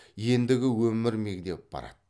ендігі өмір мегдеп барады